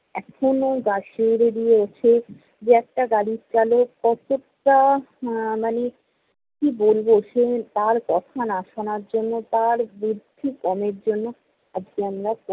এখনও গা শিউড়ে দিয়ে উঠে। যে একটা গাড়ির চালক কতটা আহ মানে কী বলবো? তার কথা না শোনার জন্য, তার বুদ্ধি কমের জন্য আজকে আমরা